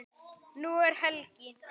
Nú er helgi.